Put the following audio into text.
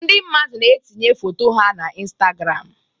Ndị mmadụ na-etinye foto ha na Instagram